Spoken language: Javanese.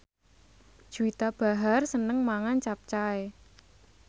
Juwita Bahar seneng mangan capcay